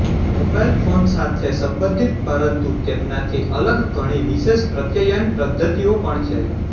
mobile phone સાથે સંબંધિત પરંતુ તેમનાથી અલગ ઘણી વિશેષ પ્રત્યયન પદ્ધતિઓ પણ છે